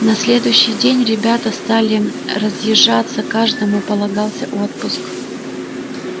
на следующий день ребята стали разъезжаться каждому полагался отпуск